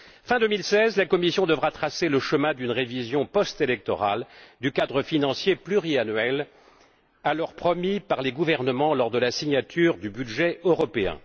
Fin 2016, la Commission devra tracer le chemin d'une révision post électorale du cadre financier pluriannuel alors promis par les gouvernements lors de la signature du budget européen.